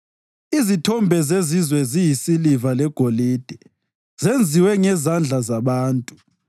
Izithombe zezizwe ziyisiliva legolide, zenziwe ngezandla zabantu.